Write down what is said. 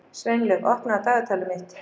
Sveinlaug, opnaðu dagatalið mitt.